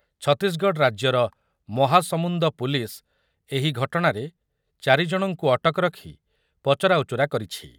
ଛତିଶଗଡ଼ ରାଜ୍ୟର ମହାସମୁନ୍ଦ ପୁଲିସ୍ ଏହି ଘଟଣାରେ ଚାରି ଜଣଙ୍କୁ ଅଟକ ରଖି ପଚରାଉଚରା କରିଛି ।